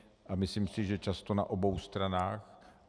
A myslím si, že často na obou stranách.